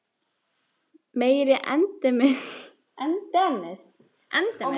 Meiri endemis erkibjálfinn sem hann var búinn að vera!